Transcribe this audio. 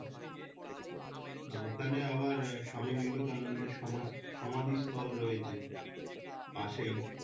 ওখানে আবার স্বামী বিবেকানন্দের সমা সমাধিস্থল রয়েছে পাশেই।